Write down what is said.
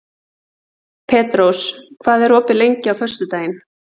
Ekkert minnst á sjávarútvegsmál